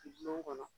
Dulon kɔnɔ